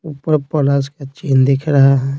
ऊपर प्लस का चिन्ह दिख रहा है।